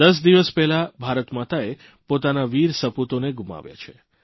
દસ દિવસ પહેલા ભારતમાતાએ પોતાના વિર સપૂતોને ગુમાવ્યા છે